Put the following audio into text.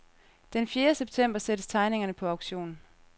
Den fjerde september sættes tegningerne på auktion.